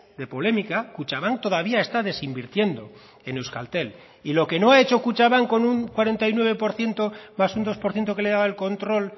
de polémica kutxabank todavía está desinvirtiendo en euskaltel y lo que no ha hecho kutxabank con un cuarenta y nueve por ciento más un dos por ciento que le daba el control